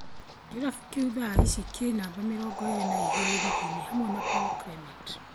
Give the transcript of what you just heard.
Kĩrafu kĩu thaa ishii kĩ namba mĩrongo ĩĩrĩ na igĩrĩ rigini hamwe na Paul Clement